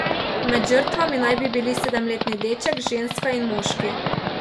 Med žrtvami naj bi bili sedemletni deček, ženska in moški.